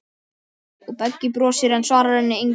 Og Beggi brosir, en svarar henni engu.